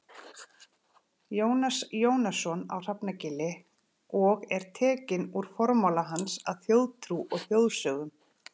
Jónas Jónasson á Hrafnagili og er tekinn úr formála hans að Þjóðtrú og þjóðsögnum.